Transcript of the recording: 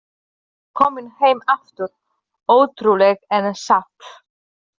Hann var kominn heim aftur, ótrúlegt en satt!